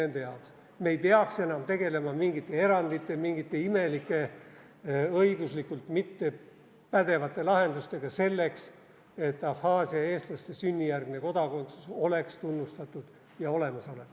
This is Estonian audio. Me ei peaks enam tegelema mingite erandite, mingite imelike, õiguslikult mittepädevate lahendustega selleks, et Abhaasia eestlaste sünnijärgne kodakondsus oleks tunnustatud ja olemasolev.